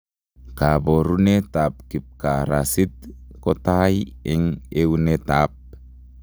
Koborunetab kipkarasit kotai eng etunetab